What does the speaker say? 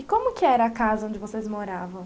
E como que era a casa onde vocês moravam?